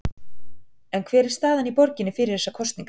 En hver er staðan í borginni fyrir þessar kosningar?